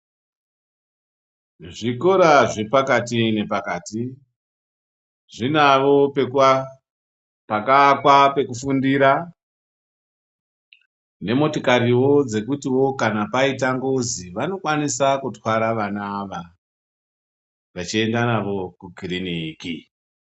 Zvikora zvepakati ngepakati zvinavo pakaakwa pekufundira nemotikariwo dzekutiwo kana paita ngozi vanokwanisa kutwara vana ava vechienda navo kukiriniki.